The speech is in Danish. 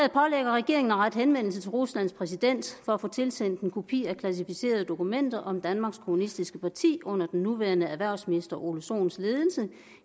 regeringen at rette henvendelse til ruslands præsident for at få tilsendt en kopi af klassificerede dokumenter om danmarks kommunistiske parti under den nuværende erhvervsminister herre ole sohns ledelse